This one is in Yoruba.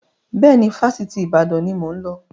Bẹ́ẹ̀ni, Fásitì Ìbàdàn ni mo ń lọ